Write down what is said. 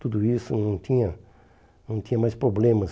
Tudo isso não tinha não tinha mais problemas.